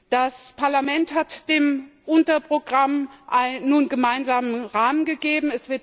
Das Parlament hat dem Unterprogramm nun einen gemeinsamen Rahmen gegeben.